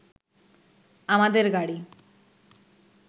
আমাদের গাড়ি